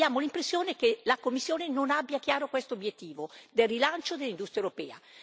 Ma abbiamo l'impressione che la Commissione non abbia chiaro questo obiettivo del rilancio dell'industria europea.